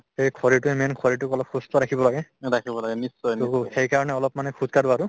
এই শৰীৰটোয়ে main শৰীৰটোক অলপ সুস্থ ৰাখিব লাগে to সেইকাৰণে মানে অলপ খোজকাঢ়ো আৰু